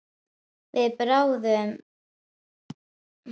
Við bráðnun verða þar smám saman til ísstrýtur huldar auri.